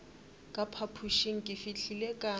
ka phapošeng ke fihlile ka